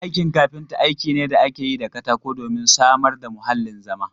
Aikin kafinta aiki ne da ake yi da katako domin samar da muhallin zama.